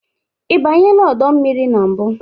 Ị banyela ọdọ mmiri na mbụ?